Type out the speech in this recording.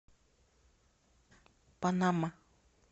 панама